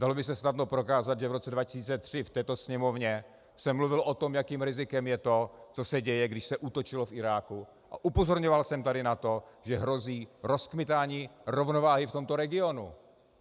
Dalo by se snadno prokázat, že v roce 2003 v této Sněmovně jsem mluvil o tom, jakým rizikem je to, co se děje, když se útočilo v Iráku, a upozorňoval jsem tady na to, že hrozí rozkmitání rovnováhy v tomto regionu.